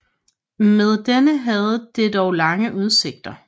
Med denne havde det dog lange udsigter